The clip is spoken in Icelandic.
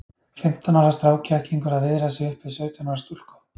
Fimmtán ára strákkettlingur að viðra sig upp við sautján ára stúlku!